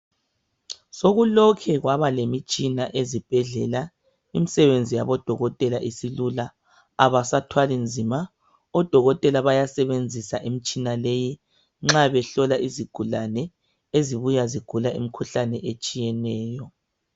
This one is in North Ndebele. Sokulokhe kwabalemtshina ezibhedlela imsebenzi yabodokotela isilula abasathwali nzima odokotela bayasebenzisa imitshina leyi nxa behlola izigulane ezibuya zigula imkhuhlane etshiyeneyo.